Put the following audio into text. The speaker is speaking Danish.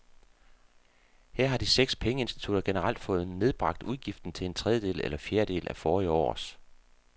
Her har de seks pengeinstitutter generelt fået nedbragt udgiften til en tredjedel eller fjerdedel af forrige års.